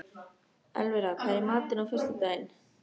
Elvira, hvað er í matinn á föstudaginn?